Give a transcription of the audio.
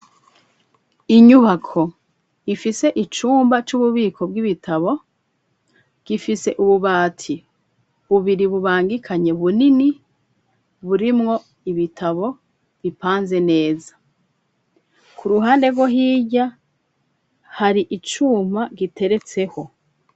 Inyubako, ifise icumba, c'ububiko bw'ibitabo, gifise ububati bubiri, bubangikanye, bunini; burimwo ibitabo, bipanze neza; ku ruhande rwo hirya, hari icuma, giteretseho.